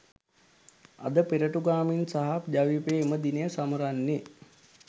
අද පෙරටුගාමින් සහ ජවිපෙ එම දිනය සමරන්නේ